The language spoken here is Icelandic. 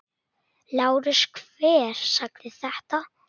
LÁRUS: Hver sagði þetta?